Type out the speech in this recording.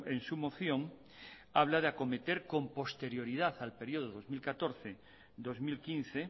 en su moción habla de acometer con posterioridad al periodo dos mil catorce dos mil quince